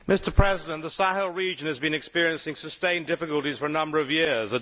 Mr President, the Sahel region has been experiencing sustained difficulties for a number of years.